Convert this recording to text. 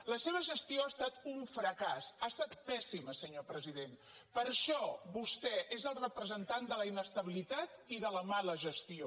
la seva gestió ha estat un fracàs ha estat pèssima senyor president per això vostè és el representant de la inestabilitat i de la mala gestió